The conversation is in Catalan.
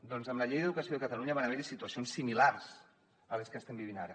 doncs amb la llei d’educació de catalunya van haver hi situacions similars a les que estem vivint ara